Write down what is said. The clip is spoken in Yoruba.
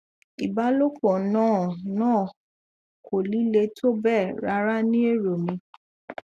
ìbálòpọ náà náà kò líle tó bẹẹ rárá ní èrò mi